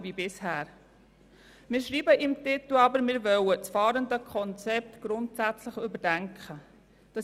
Im Motionstitel schreiben wir aber, dass wir das Fahrenden-Konzept grundsätzlich überdenken wollen.